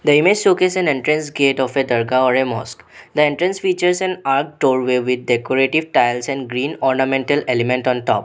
The image showcase an entrance gate of a dharga or a mosque. The entrance features an arc doorway with decorative tiles and green ornamental element on top.